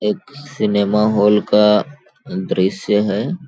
एक cinema hall का दृश्य है।